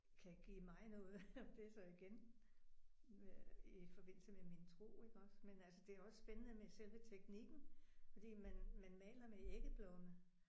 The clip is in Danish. Kan give mig noget det er så igen i forbindelse med min tro iggås men altså det er også spændende med selve teknikken fordi man man maler med æggeblomme